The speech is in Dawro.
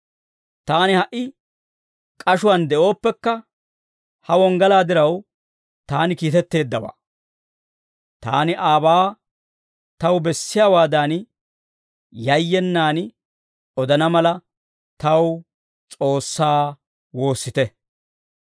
Taani ha"i k'ashuwaan de'ooppekka, ha wonggalaa diraw taani kiitetteeddawaa; taani aabaa taw bessiyaawaadan yayyenaan odana mala, taw S'oossaa woossite.